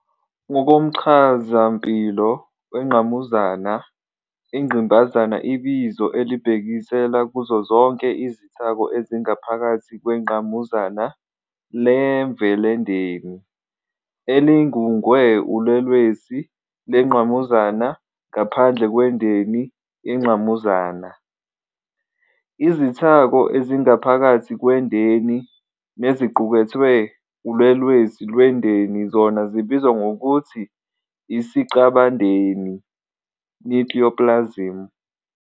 Ngokomchazampilo wengqamuzana, Ingqimbazana ibizo elibhekisela kuzo zonke izithako ezingaphakathi kwengqamuzana lemvelendeni, elingungwe ulwelwesi lwengqamuzana, ngaphandle kwendeni yengqamuzana. Izithako ezingaphakathi kwendeni neziqukethwe ulwelwesi lwendeni zona zibizwa ngokuthi isicabandeni, "nucleoplasm".